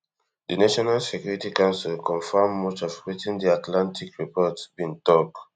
di national security council confirm much of wetin di atlantic report bin tok